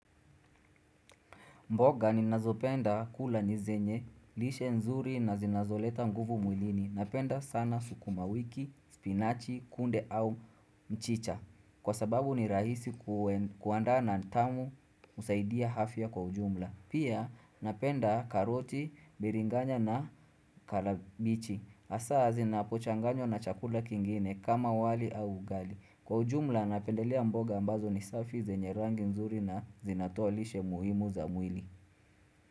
Mboga ni nazopenda kula ni zenye, lishe nzuri na zinazoleta nguvu mwilini. Napenda sana sukuma wiki, spinachi, kunde au mchicha. Kwa sababu ni rahisi kuanda na tamu usaidia afya kwa ujumla. Pia napenda karoti, biringanya na kalabichi. Asa zinapochanganywa na chakula kingine kama wali au ugali. Kwa ujumla napendelea mboga ambazo ni safi zenye rangi nzuri na zinatoa lishe muhimu za mwili.